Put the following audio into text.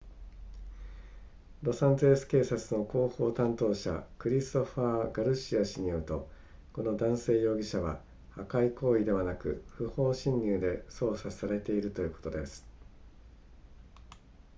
ロサンゼルス警察の広報担当者クリストファーガルシア氏によるとこの男性容疑者は破壊行為ではなく不法侵入で捜査されているということです